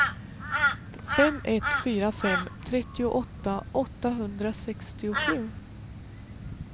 fem ett fyra fem trettioåtta åttahundrasextiosju